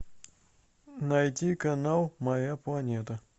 найти канал моя планета